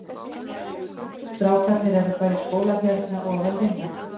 Strákarnir eru bara í skóla hérna og að vinna.